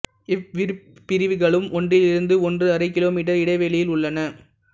இவ்விருப் பிரிவுகளும் ஒன்றிலிருந்து ஒன்று அறை கிலோ மீட்டர் இடைவேளியில் உள்ளன